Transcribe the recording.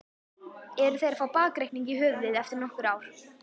Eru þeir að fá bakreikning í höfuðið eftir nokkur ár?